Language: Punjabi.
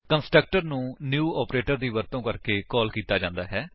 ਕੰਸਟਰਕਟਰ ਨੂੰ ਨਿਊ ਆਪਰੇਟਰ ਦੀ ਵਰਤੋ ਕਰਕੇ ਕਾਲ ਕੀਤਾ ਜਾਂਦਾ ਹੈ